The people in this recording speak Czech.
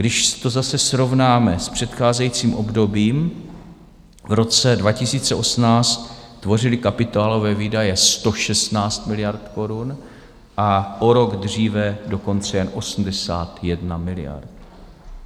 Když to zase srovnáme s předcházejícím obdobím, v roce 2018 tvořily kapitálové výdaje 116 miliard korun a o rok dříve dokonce jen 81 miliard.